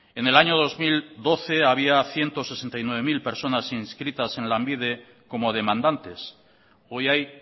en el año dos mil doce había ciento sesenta y nueve mil personas inscritas en lanbide como demandantes hoy hay